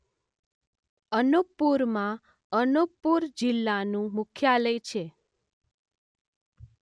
અનૂપપુરમાં અનૂપપુર જિલ્લાનું મુખ્યાલય છે.